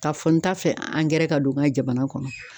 Ka fɔ n ta fɛ angɛrɛ ka don n ka jamana kɔnɔ.